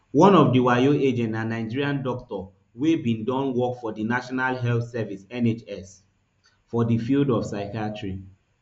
one of di wayo agents na nigerian doctor wey bin don work for di national health service nhs for di field of psychiatry